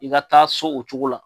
I ka taa so o cogo la.